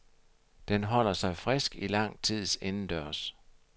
Den holder sig frisk i lang tid indendørs.